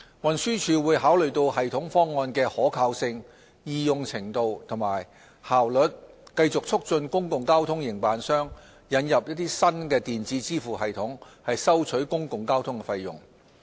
運輸署會考慮系統方案的可靠性、易用程度及效率，繼續促進公共交通營辦商引入新電子支付系統收取公共交通費用。